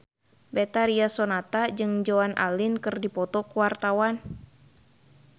Betharia Sonata jeung Joan Allen keur dipoto ku wartawan